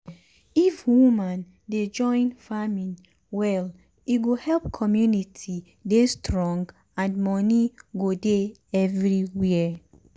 if woman dey join farming well e go help community dey strong and money go dey everywhere.